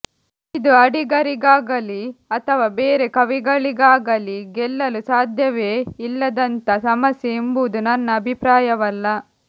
ಇದು ಅಡಿಗರಿಗಾಗಲಿ ಅಥವಾ ಬೇರೆ ಕವಿಗಳಿಗಾಗಲಿ ಗೆಲ್ಲಲು ಸಾಧ್ಯವೇ ಇಲ್ಲದಂಥ ಸಮಸ್ಯೆ ಎಂಬುದು ನನ್ನ ಅಭಿಪ್ರಾಯವಲ್ಲ